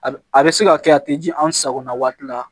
A bɛ se ka kɛ a tɛ ji an sagona waati la